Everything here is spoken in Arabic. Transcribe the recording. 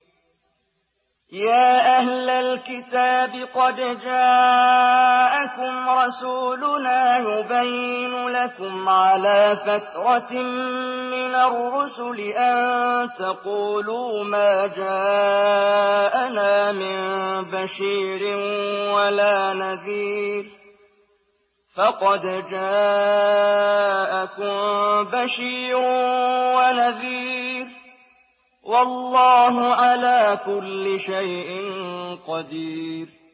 يَا أَهْلَ الْكِتَابِ قَدْ جَاءَكُمْ رَسُولُنَا يُبَيِّنُ لَكُمْ عَلَىٰ فَتْرَةٍ مِّنَ الرُّسُلِ أَن تَقُولُوا مَا جَاءَنَا مِن بَشِيرٍ وَلَا نَذِيرٍ ۖ فَقَدْ جَاءَكُم بَشِيرٌ وَنَذِيرٌ ۗ وَاللَّهُ عَلَىٰ كُلِّ شَيْءٍ قَدِيرٌ